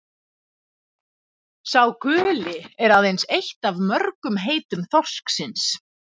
„sá guli“ er aðeins eitt af mörgum heitum þorsksins